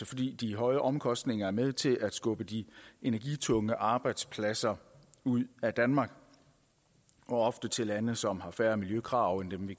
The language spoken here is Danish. fordi de høje omkostninger er med til at skubbe de energitunge arbejdspladser ud af danmark og ofte til lande som har færre miljøkrav end dem vi